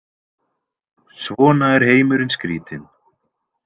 Svona er heimurinn skrítinn.